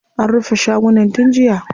An rufe shagunan tun jiya.